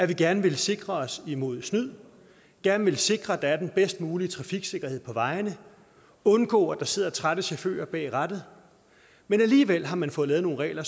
vi gerne vil sikre os imod snyd gerne vil sikre at der er den bedst mulige trafiksikkerhed på vejene og undgå der sidder trætte chauffører bag rattet men alligevel har man fået lavet nogle regler